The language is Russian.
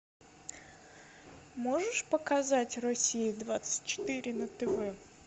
можешь показать россия двадцать четыре на тв